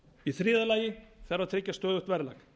í þriðja lagi þarf að tryggja stöðugt verðlag